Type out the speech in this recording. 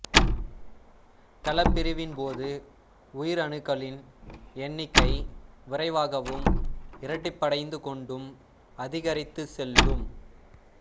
கலப்பிரிவின்போது உயிரணுக்களின் எண்ணிக்கை விரைவாகவும் இரட்டிப்படைந்து கொண்டும் அதிகரித்துச் செல்லும்